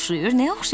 Nəyə oxşayacaq?